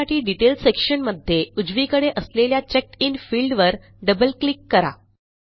त्यासाठी डिटेल sectionमध्ये उजवीकडे असलेल्या चेकडिन फील्ड वर डबल क्लिक करा